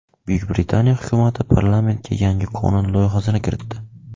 Buyuk Britaniya hukumati parlamentga yangi qonun loyihasini kiritdi.